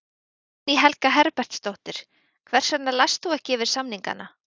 Guðný Helga Herbertsdóttir: Hvers vegna last þú ekki yfir samningana?